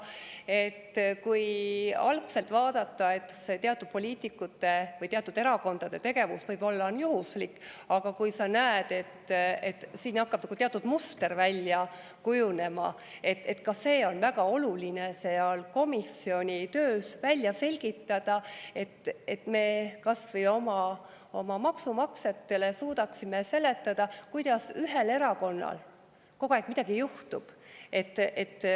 Algselt, et see teatud poliitikute või teatud erakondade tegevus on juhuslik, aga kui on näha, et siin hakkab nagu teatud muster välja kujunema, siis on väga oluline ka see seal komisjoni töös välja selgitada, et me kas või oma maksumaksjatele suudaksime seletada, kuidas ühel erakonnal kogu aeg midagi juhtub.